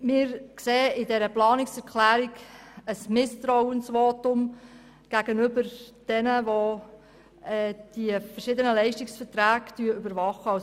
Wir sehen in dieser Planungserklärung ein Misstrauensvotum gegenüber denjenigen, die die verschiedenen Leistungsverträge überwachen.